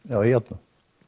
já í járnum